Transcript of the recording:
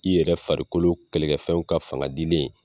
I yɛrɛ farikolo kɛlɛkɛfɛnw ka fanga dilen